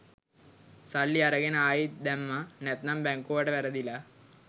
සල්ලි අරගෙන ආයිත් දැම්ම නැත්තං බැංකුවට වැරදිලා